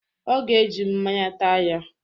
Ọ ga-eji mmaǹya taa ya.